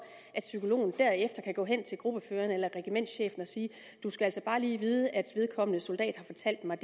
at psykologen derefter kan gå hen til gruppeføreren eller regimentschefen og sige du skal altså bare lige vide at vedkommende soldat har fortalt mig